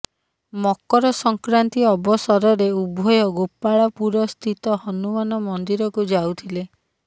ମକର ସଂକ୍ରାନ୍ତି ଅବସରରେ ଉଭୟ ଗୋପାଳପୁରସ୍ଥିତ ହନୁମାନ ମନ୍ଦିରକୁ ଯାଉଥିଲେ